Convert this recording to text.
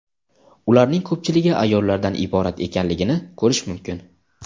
ularning ko‘pchiligi ayollardan iborat ekanligini ko‘rish mumkin.